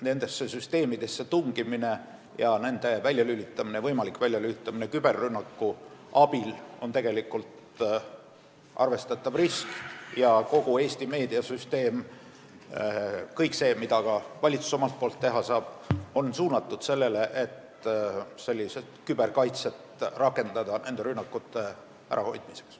Nendesse süsteemidesse tungimine ja nende võimalik väljalülitamine küberrünnaku abil on arvestatav risk ja kõik see, mida valitsus koos Eesti meediasüsteemiga teha saab, on suunatud sellele, et rakendada küberkaitset nende rünnakute ärahoidmiseks.